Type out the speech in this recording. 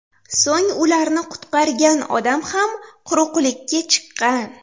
So‘ng ularni qutqargan odam ham quruqlikka chiqqan.